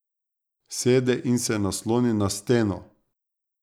Sede in se nasloni na steno.